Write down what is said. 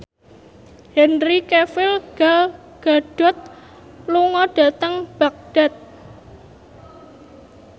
Henry Cavill Gal Gadot lunga dhateng Baghdad